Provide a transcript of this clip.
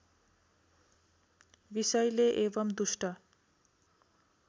विषैले एवं दुष्ट